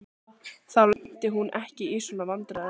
Þá lenti hún ekki í svona vandræðum.